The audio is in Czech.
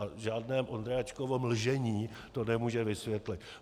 A žádné Vondráčkovo mlžení to nemůže vysvětlit.